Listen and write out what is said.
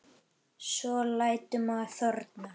Hún spurði um þig.